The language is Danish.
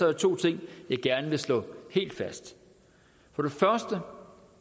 der to ting jeg gerne vil slå helt fast for